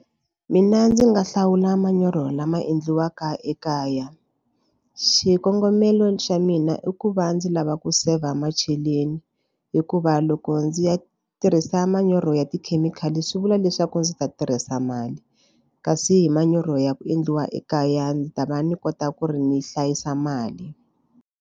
Mina ndzi nga hlawula manyoro lama endliwaka ekaya xikongomelo xa mina i ku va ndzi lava ku saver macheleni hikuva loko ndzi ya tirhisa manyoro ya tikhemikhali swi vula leswaku ndzi ta tirhisa mali kasi hi manyoro ya ku endliwa ekaya ni ta va ni kota ku ri ni hlayisa mali.